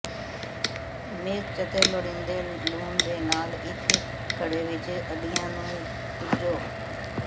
ਮਿਰਚ ਅਤੇ ਲੋੜੀਂਦੇ ਲੂਣ ਦੇ ਨਾਲ ਇੱਕ ਘੜੇ ਵਿੱਚ ਅੰਡਿਆਂ ਨੂੰ ਪੂੰਝੋ